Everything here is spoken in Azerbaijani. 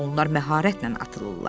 Onlar məharətlə atılırlar.